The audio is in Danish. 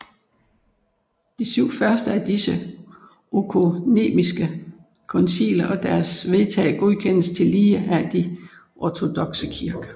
De syv første af disse økumeniske konciler og deres vedtag godkendes tillige af de ortodokse kirker